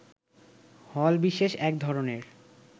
হল বিশেষ এক ধরনের